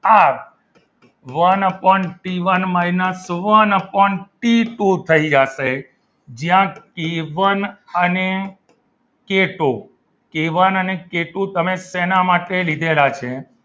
R one upon T one minus one upon T two થઈ જશે જ્યાં K one અને કે ટુ અને કે ટુ તમે શેના માટે લીધેલા છે?